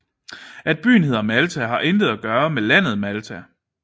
At byen hedder Malta har intet at gøre med landet Malta